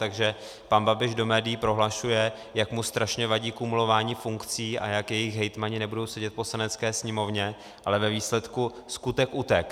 Takže pan Babiš do médií prohlašuje, jak mu strašně vadí kumulování funkcí a jak jejich hejtmani nebudou sedět v Poslanecké sněmovně, ale ve výsledku skutek utek'.